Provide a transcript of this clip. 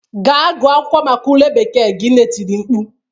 "Gaa gụọ akwụkwọ maka ule bekee gị'' nne tiri mkpu